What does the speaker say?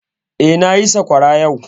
Eh, na yi sakwara yau